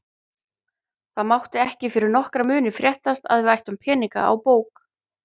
Það mátti ekki fyrir nokkra muni fréttast að við ættum peninga á bók.